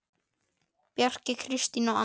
Bjarki, Kristín og Anna.